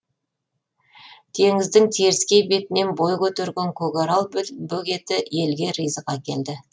теңіздің теріскей бетінен бой көтерген көкарал бөгеті елге ризық әкелді